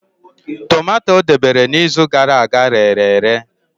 Tomato o debere n'izu gara aga rere ere.